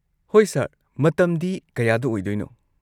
ꯍꯣꯏ, ꯁꯔ, ꯃꯇꯝꯗꯤ ꯀꯌꯥꯗ ꯑꯣꯏꯗꯣꯏꯅꯣ?